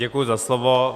Děkuji za slovo.